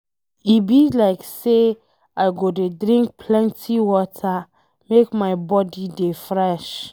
E be like say I go dey drink plenty water make my body dey fresh.